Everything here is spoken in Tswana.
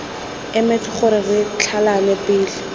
emetse gore re tlhalane pele